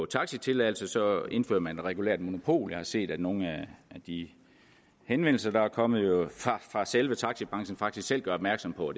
taxitilladelser så indfører man et regulært monopol jeg har set at nogle af de henvendelser der er kommet fra selve taxibranchen faktisk selv gør opmærksom på